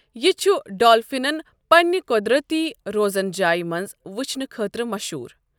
یہِ چھُ ڈالفِنَن پننِہ قۄدرتی روزن جاے منٛز وُچھنہٕ خٲطرٕ مشہوٗر۔